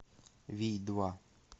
вий два